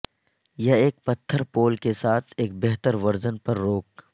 یا ایک پتھر پول کے ساتھ ایک بہتر ورژن پر روک